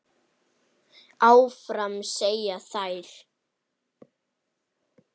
Áfram, segja þær.